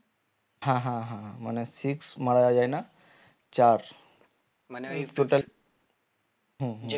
হা হা হা মানে মারা যায় না চার হম হম